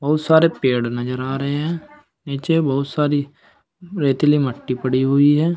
बहुत सारे पेड़ नजर आ रहे हैं नीचे बहुत सारी रेतीली मट्टी पड़ी हुई है।